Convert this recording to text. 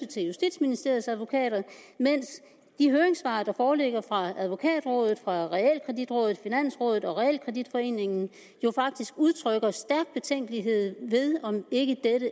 til justitsministeriets advokater mens de høringssvar der foreligger fra advokatrådet realkreditrådet finansrådet og realkreditforeningen jo faktisk udtrykker stærk betænkelighed ved om dette ikke